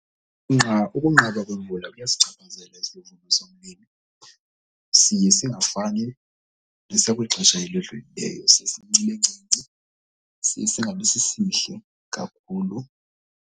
Ukunqaba kwemvula kuyasichaphazela isivuno somlimi. Siye singafani nesakwixesha elidlulileyo. Siye sibe sincinci, singabi sisihle kakhulu.